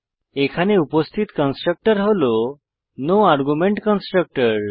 এখানে উপস্থিত কন্সট্রকটর হল নো আর্গুমেন্ট কনস্ট্রাক্টর